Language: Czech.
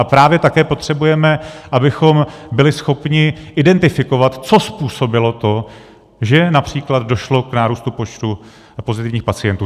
A právě také potřebujeme, abychom byli schopni identifikovat, co způsobilo to, že například došlo k nárůstu počtu pozitivních pacientů.